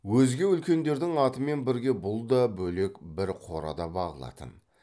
өзге үлкендердің атымен бірге бұл да бөлек бір қорада бағылатын